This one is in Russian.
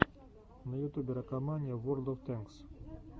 на ютубе ракомания ворлд оф тэнкс